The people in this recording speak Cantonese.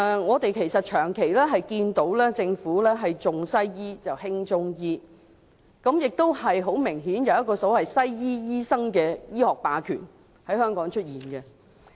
我們長期看到政府是"重西醫、輕中醫"，而且很明顯，在香港亦存在西醫醫生的醫學霸權。